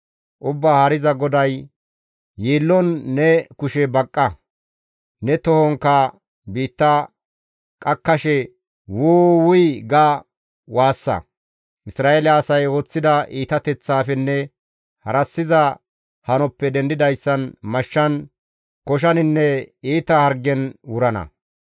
« ‹Ubbaa Haariza GODAY: yiillon ne kushe baqqa; ne tohonkka biitta qakkashe, Wuu! Wuy› ga waassa; Isra7eele asay ooththida iitateththaafenne harassiza hanoppe dendidayssan mashshan, koshaninne iita hargen wurana.